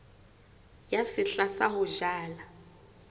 ya sehla sa ho jala